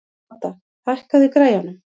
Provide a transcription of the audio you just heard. Todda, hækkaðu í græjunum.